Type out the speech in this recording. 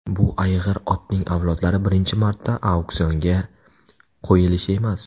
Bu ayg‘ir otning avlodlari birinchi marta auksionga qo‘yilishi emas.